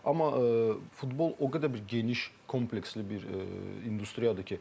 Amma futbol o qədər bir geniş, kompleksli bir industriyadır ki.